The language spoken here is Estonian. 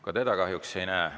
Ka teda kahjuks ei näe.